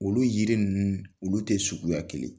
Olu yiri ninnu olu tɛ suguya kelen